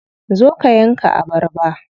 Zo ka yanka abarba.